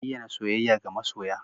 Bayyana soyayya ga masoya